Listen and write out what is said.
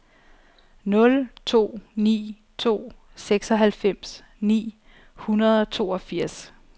nul to ni to seksoghalvfems ni hundrede og toogfirs